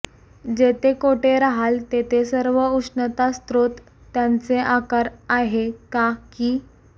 जेथे कोठे राहाल तेथे सर्व उष्णता स्रोत त्याचे आकार आहे का की